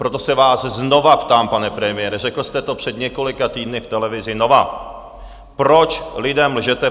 Proto se vás znovu ptám, pane premiére, řekl jste to před několika týdny v televizi Nova, proč lidem lžete?